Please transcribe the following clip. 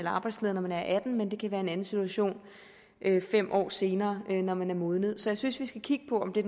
arbejdsleder når man er atten år men det kan være en anden situation fem år senere når man er modnet så jeg synes vi skal kigge på om det